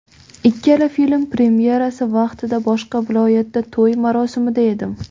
Ikkala film premyerasi vaqtida boshqa viloyatda to‘y marosimida edim.